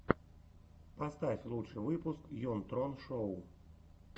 поставь лучший выпуск йон трон шоу